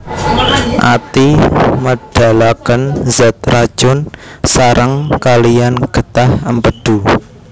Ati médhalakén zat racun saréng kaliyan gétah Émpédu